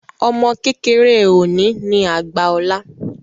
Ọmọ kékeré òní ní àgbà ọ̀la